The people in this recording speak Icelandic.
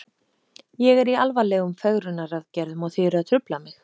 Ég er í alvarlegum fegrunaraðgerðum og þið eruð að trufla mig.